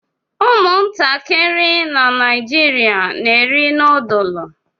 Ụmụntakịrị na Naịjirịa na-eri noodlu